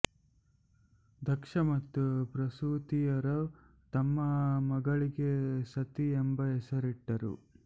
ದಕ್ಷ ಮತ್ತು ಪ್ರಸೂತಿಯರು ತಮ್ಮ ಮಗಳಿಗೆ ಸತಿ ಎಂಬ ಹೆಸರಿಟ್ಟರು